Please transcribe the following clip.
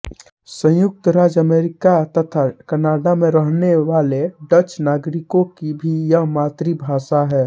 संयुक्त राज्य अमरीका तथा कनाडा में रहनेवाले डच नागरिकों की भी यह मातृभाषा है